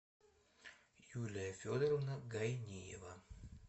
юлия федоровна гайниева